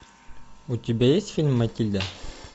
у тебя есть фильм матильда